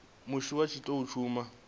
musi vha tshi tou thoma